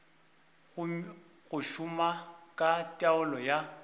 go šoma ka taolo ya